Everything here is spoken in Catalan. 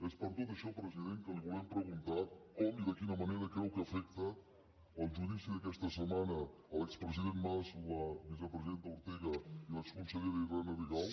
és per tot això president que li volem preguntar com i de quina manera creu que afecta el judici d’aquesta setmana a l’expresident mas l’exvicepresidenta ortega i l’exconsellera irene rigau